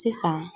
Sisan